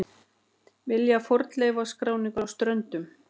Vilja fornleifaskráningu á Ströndum